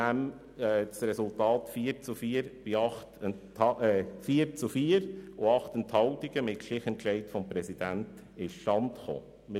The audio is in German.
Der Entscheid ist mit 4 zu 4 Stimmen bei 8 Enthaltungen mit dem Stichentscheid des Präsidenten zustande gekommen.